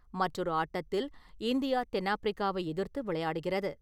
மற்றொரு ஆட்டத்தில் இந்தியா-தென்னாஃப்பிரிக்காவை எதிர்த்து விளையாடுகிறது.